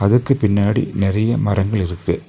அதுக்கு பின்னாடி நறைய மரங்கள் இருக்கு.